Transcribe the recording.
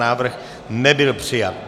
Návrh nebyl přijat.